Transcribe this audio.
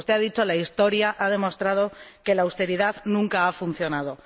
Y, como usted ha dicho, la historia ha demostrado que la austeridad nunca ha funcionado.